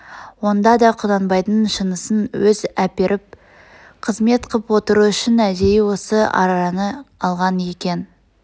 онда да құнанбайдың шынысын өз әперіп қызмет қып отыру үшін әдейі осы араны алған екен